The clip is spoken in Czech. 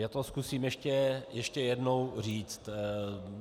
Já to zkusím ještě jednou říct.